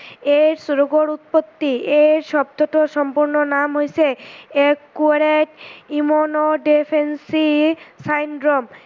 AIDS ৰোগৰ উৎপত্তি, এই শব্দতোৰ সম্পূৰ্ন নাম হৈছে acquired immune deficiency syndrome